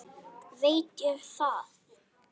Veit ég það?